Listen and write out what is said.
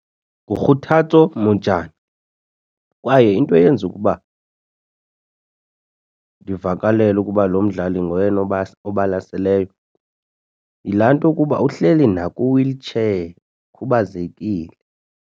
NguKotatso Mojane kwaye into eyenza ukuba ndivakalelwe ukuba lo mdlali ngoyena obalaseleyo yilaa nto kuba uhleli nakwi-wheelchair ukhubazekile.